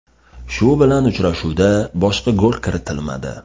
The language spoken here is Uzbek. Shu bilan uchrashuvda boshqa gol kiritilmadi.